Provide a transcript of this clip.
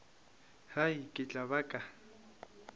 hai ke tla ba ka